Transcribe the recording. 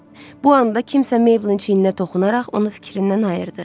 Bu anda kimsə Mayblin çiyininə toxunaraq onu fikrindən ayırdı.